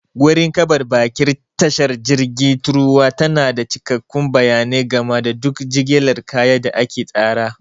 Gurin karɓar baƙin tashar jirgi truwa tana da cikakkun bayanai game da duk jigilar kaya da aka tsara.